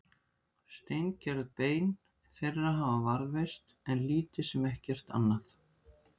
steingerð bein þeirra hafa varðveist en lítið sem ekkert annað